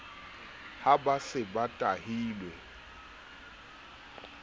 ha ba se ba tahilwe